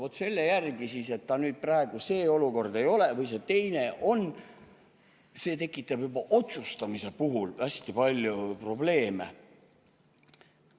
Vaat selle järgi, et ta nüüd praegu see olukord ei ole või see teine on, see tekitab juba otsustamise puhul hästi palju probleeme.